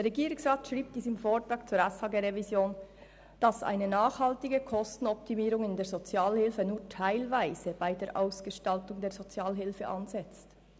Der Regierungsrat schreibt in seinem Vortrag zur SHG-Revision, «dass eine nachhaltige Kostenoptimierung in der Sozialhilfe nur teilweise bei der Ausgestaltung der Sozialhilfe ansetzt.